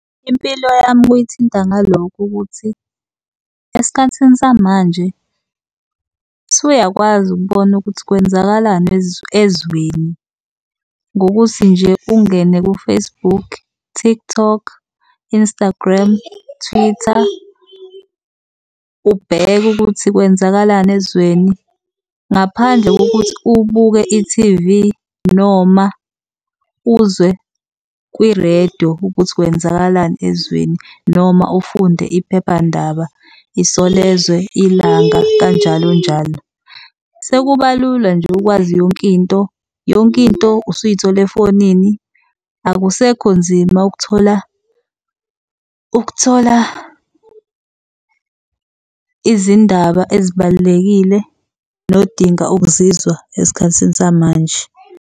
Impilo yami kuyithinta ngalokhu kokuthi esikhathini samanje usuyakwazi ukubona ukuthi kwenzakalani ezweni ngokuthi nje ungene ku-Facebook, TikTok, Instagram, Twitter ubheke ukuthi kwenzakalani ezweni ngaphandle kokuthi ubuke i-T_V, noma uzwe kwi-radio ukuthi kwenzakalani ezweni. Noma ufunde iphephandaba Isolezwe, ILANGA kanjalo njalo. Sekuba lula nje ukwazi yonkinto, yonkinto usuyithola efonini. Akusekho nzima ukuthola ukuthola izindaba ezibalulekile nodinga ukuzizwa esikhathini samanje.